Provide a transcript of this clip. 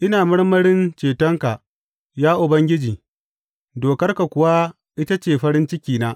Ina marmarin cetonka, ya Ubangiji, dokarka kuwa ita ce farin cikina.